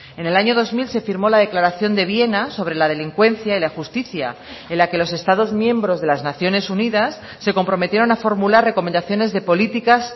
en el año dos mil se firmó la declaración de viena sobre la delincuencia y la justicia en la que los estados miembros de las naciones unidas se comprometieron a formular recomendaciones de políticas